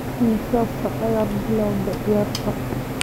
Imisa saac ayaad bilowday ciyaarta?